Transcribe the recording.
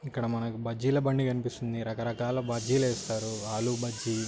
ఇక్కడ మంకు బజ్జిల బండి కనిపిస్తుంది రకరకాల బజ్జిలు వేస్తారు ఆలు బజ్జి --